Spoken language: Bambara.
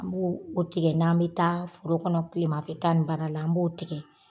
N b'o o tigɛ n'an be taa foro kɔnɔ tilemafɛta ni baara la n b'o tigɛ.